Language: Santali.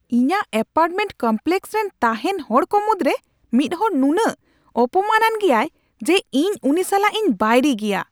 ᱤᱧᱟᱹᱜ ᱮᱯᱟᱨᱴᱢᱮᱱᱴ ᱠᱚᱢᱯᱞᱮᱹᱠᱥ ᱨᱮᱱ ᱛᱟᱦᱮᱱ ᱦᱚᱲ ᱠᱚ ᱢᱩᱫᱨᱮ ᱢᱤᱫᱦᱚᱲ ᱱᱩᱱᱟᱹᱜ ᱚᱯᱚᱢᱟᱱ ᱼᱟᱱ ᱜᱮᱭᱟᱭ ᱡᱮ ᱤᱧ ᱩᱱᱤ ᱥᱟᱞᱟᱜ ᱤᱧ ᱵᱟᱹᱭᱨᱤ ᱜᱮᱭᱟ ᱾